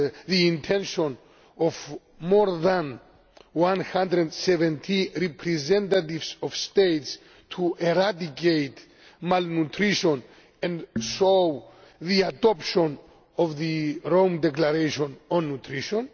the intention of more than 170 representatives of states to eradicate malnutrition and led to the adoption of the Rome Declaration on Nutrition.